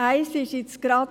Das eine betrifft Prêles.